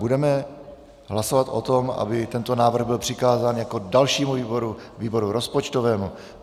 Budeme hlasovat o tom, aby tento návrh byl přikázán jako dalšímu výboru výboru rozpočtovému.